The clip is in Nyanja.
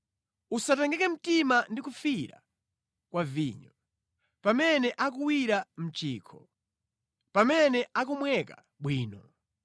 Usatengeke mtima ndi kufiira kwa vinyo, pamene akuwira mʼchikho pamene akumweka bwino!